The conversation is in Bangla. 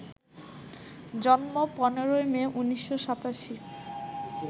জন্ম ১৫ই মে, ১৯৮৭